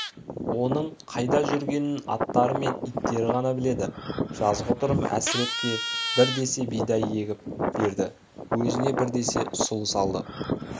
оның қайда жүргенін аттары мен иттері ғана біледі жазғытұрым әсірепке бір десе бидай егіп берді өзіне бір десе сұлы салды